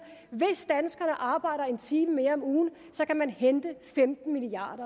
hvis danskerne arbejder en time mere om ugen kan man hente femten milliard